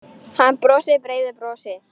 Hann brosir breiðu brosi.